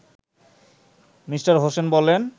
Me. Hossain বলেন